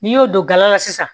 N'i y'o don gala sisan